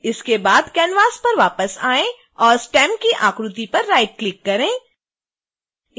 इसके बाद canvas पर वापस आएं और स्टेम की आकृति पर राइटक्लिक करें